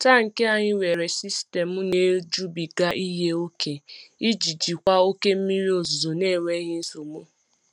Tankị anyị nwere sistemu na-ejubiga ihe ihe ókè iji jikwa oke mmiri ozuzo n'enweghị nsogbu.